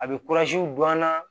A bɛ don an na